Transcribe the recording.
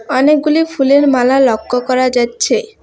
অনেকগুলি ফুলের মালা লক্ষ্য করা যাচ্ছে।